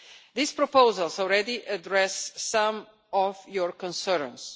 These proposals already address some of your concerns.